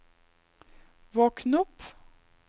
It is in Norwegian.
våkn opp